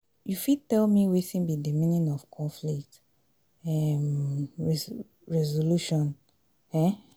you fit tell me wetin be di meaning of conflict um resolution? um